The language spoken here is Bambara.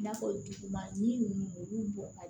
I n'a fɔ duguma yiri ninnu olu bɔgɔ